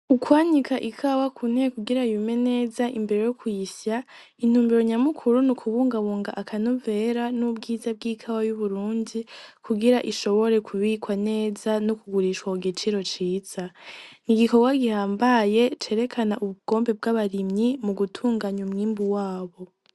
Ukwanika ikawa ku ntebe kugira yume neza imbere yo kuyisya intumbero nyamukuru nukubungabunga aka novera n'ubwiza bw'ikawa y'Uburundi kugira ishobore ku bikwa neza no kugurishwa ku giciro ciza, N'igikorwa gihambaye cerekana ubugombe bw'abarimyi mu gutunganya umwimbu wabo.